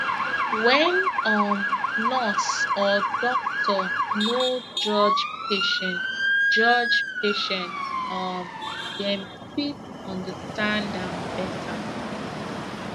when um nurse or doctor no judge patient judge patient um dem fit understand am better